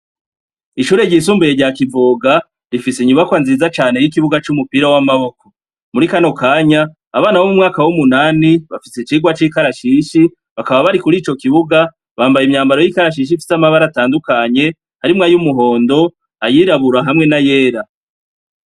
Ishure ryisumbuye rya kivoga, rifise inyubakwa nziza cane r'ikibuga c'umupira w'amaboko, muri kano kanya abana bo m’umwaka w'umunani bafise icirwa c'ikarashishi bakaba bari kuri ico kibuga bambaye imyambaro y'ikarashishi ifise amabara atandukanye harimwe ayo umuhondo ayirabura hamwe na yera.